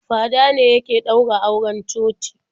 Fada ne yake ɗaura auren coci.